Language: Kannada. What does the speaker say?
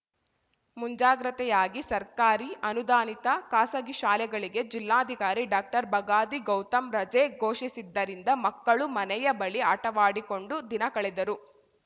ಮುಂಜಾಗ್ರತೆಯಾಗಿ ಸರ್ಕಾರಿ ಅನುದಾನಿತ ಖಾಸಗಿ ಶಾಲೆಗಳಿಗೆ ಜಿಲ್ಲಾಧಿಕಾರಿ ಡಾಕ್ಟರ್ಬಗಾದಿ ಗೌತಮ್‌ ರಜೆ ಘೋಷಿಸಿದ್ದರಿಂದ ಮಕ್ಕಳು ಮನೆಯ ಬಳಿ ಆಟವಾಡಿಕೊಂಡು ದಿನ ಕಳೆದರು